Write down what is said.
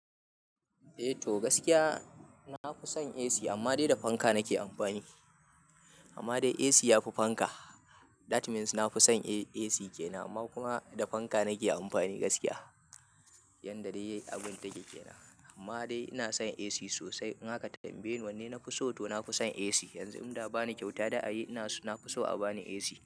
Eh to gaskiya na fi son AC amma dai da fanka nake amfani. Amma dai AC yafi fanka, that means na fi son AC ke nama kuma da fanka nake amfani gaskiya. Yanda dai abun take kenan. Amma dai ina son AC sosai. In aka tambaye ni wanne na fi so to na fi son AC. Yanzu in da za'a bani kyauta da a yi, na fi so a bani AC.